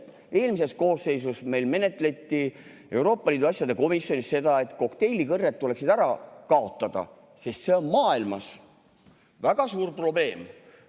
Eelmises koosseisus menetleti Euroopa Liidu asjade komisjonis seda, et kokteilikõrred tuleks ära kaotada, sest see on maailmas väga suur probleem.